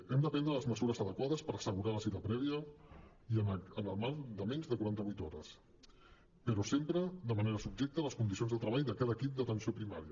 hem de prendre les mesures adequades per assegurar la cita prèvia i en el marc de menys de quaranta vuit hores però sempre de manera subjecte a les condicions de treball de cada equip d’atenció primària